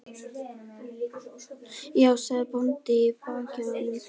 Þá sagði bóndi í bakið á honum